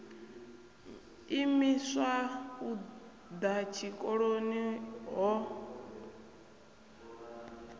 imiswa u ḓa tshikoloni ho